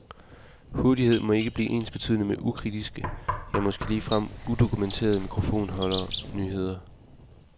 Hurtighed må ikke blive ensbetydende med ukritiske, ja måske ligefrem udokumenterede mikrofonholder nyheder.